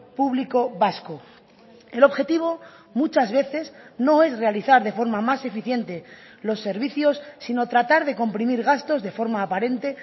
público vasco el objetivo muchas veces no es realizar de forma más eficiente los servicios sino tratar de comprimir gastos de forma aparente